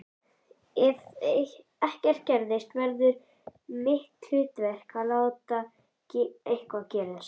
Ef ekkert gerist verður mitt hlutverk að láta eitthvað gerast.